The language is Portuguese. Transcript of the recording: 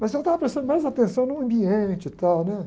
Mas eu estava prestando mais atenção no ambiente e tal, né?